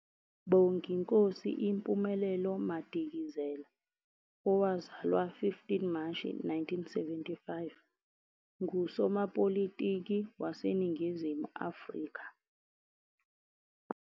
Bonginkosi Impumelelo Madikizela, owazalwa 15 Mashi 1975, ngusomapolitiki wase Ningizimu Afrika